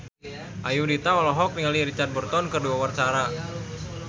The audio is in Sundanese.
Ayudhita olohok ningali Richard Burton keur diwawancara